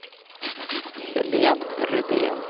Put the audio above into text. Helene Rydén